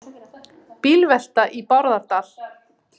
Bílvelta í Bárðardal